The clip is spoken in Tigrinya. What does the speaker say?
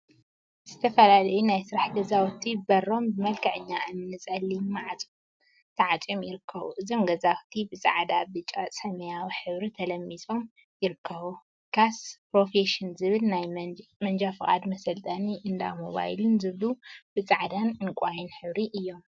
ዝተፈላለዩ ናይ ስራሕ ገዛውቲ በሮም ብመልክዐኛ እምኒን ጸሊም ማዕጾን ተዓጽዮም ይርከቡ። እዞም ገዛውቲ ብጻዕዳ፣ ብጫን ሰማያዊን ሕብሪ ተለሚጾም ይርከቡ። ካስ ፕሮፌሽን ዝብል ናይ መንጃ ፍቃድ መሰልጠኒን እንዳ ሞባይልን ዝብሉ ብጻዕዳን ዕንቃይን ሕብሪ እዮም።